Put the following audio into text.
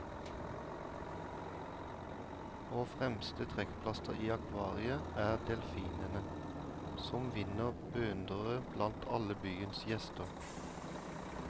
Og fremste trekkplaster i akvariet er delfinene, som vinner beundrere blant alle byens gjester.